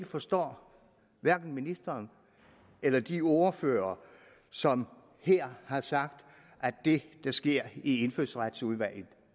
forstår ministeren eller de ordførere som her har sagt at det der sker i indfødsretsudvalget